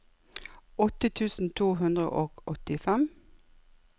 åtte tusen to hundre og åttifem